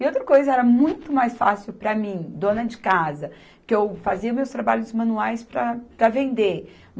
E outra coisa, era muito mais fácil para mim, dona de casa, que eu fazia meus trabalhos manuais para, para vender.